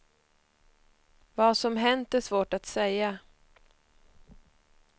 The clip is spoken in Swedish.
Vad som hänt är svårt att säga.